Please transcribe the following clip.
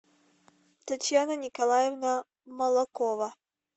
татьяна николаевна молокова